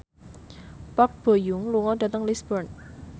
Park Bo Yung lunga dhateng Lisburn